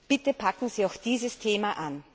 Bitte packen Sie auch dieses Thema an!